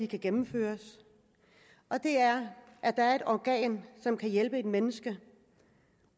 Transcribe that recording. kan gennemføres og det er at der er et organ som kan hjælpe et menneske